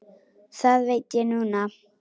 Það veit ég núna.